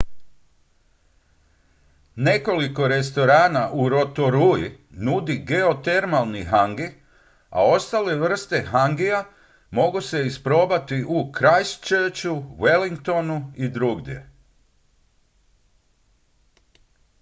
nekoliko restorana u rotorui nudi geotermalni hangi a ostale vrste hangija mogu se isprobati u christchurchu wellingtonu i drugdje